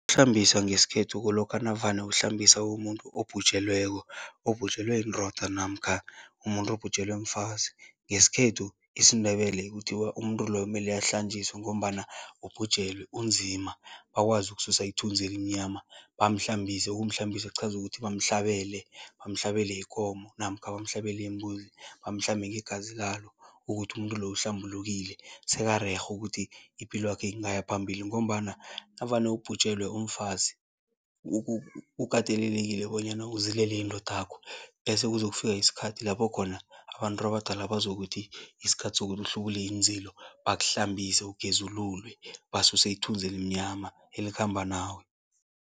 Ukuhlambisa ngesikhethu kulokha navane uhlambisa umuntu obhujelweko, obhujelwe yindoda namkha umuntu obhujelwe mfazi. Ngesikhethu, isiNdebele, kuthiwa umuntu loyo mele ahlanjiswe ngombana ubhujelwe, unzima, bakwazi ukususa ithunzi elimnyama, bamhlambise. Ukumhlambisa kuchaza ukuthi bamhlabele, bamhlabele ikomo namkha bamhlabele imbuzi, bamhlambe ngegazi lalo ukuthi umuntu loyo uhlambulukile, sekarerhe ukuthi ipilwakhe ingaya phambili ngombana navane ubhujelwe, umfazi, ukatelelekile bonyana uzilele indodakho bese kube kuzokufika isikhathi lapho khona abantu abadala bazokuthi isikhathi sokuthi uhlubule iinzilo, bakuhlambise, ugezululwe, basuse ithunzi elimnyama, elikhamba nawe.